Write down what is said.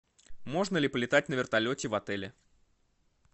можно ли полетать на вертолете в отеле